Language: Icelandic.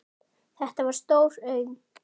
Þetta var stór auðn.